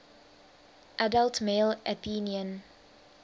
adult male athenian